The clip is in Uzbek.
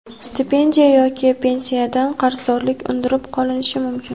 stipendiya yoki pensiyadan qarzdorlik undirib qolinishi mumkin.